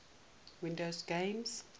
windows games